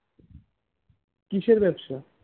কিসের ব্যবসা